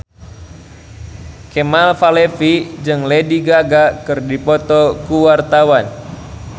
Kemal Palevi jeung Lady Gaga keur dipoto ku wartawan